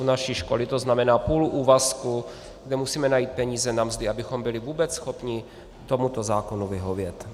U naší školy to znamená půl úvazku, kde musíme najít peníze na mzdy, abychom byli vůbec schopni tomuto zákonu vyhovět.